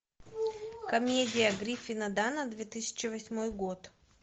комедия гриффина данна две тысячи восьмой год